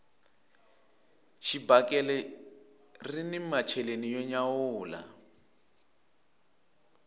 xibakele rini macheleni yo nyawula